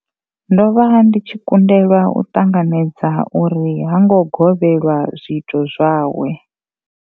Ndo vha ndi tshi kundelwa u ṱanganedza uri ha ngo gwevhelwa zwiito zwawe.